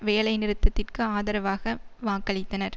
வேலைநிறுத்திற்கு ஆதரவாக வாக்களித்தனர்